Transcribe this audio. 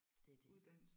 Det er det